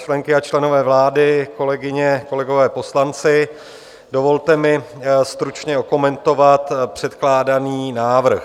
Členky a členové vlády, kolegyně, kolegové poslanci, dovolte mi stručně okomentovat předkládaný návrh.